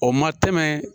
O ma tɛmɛ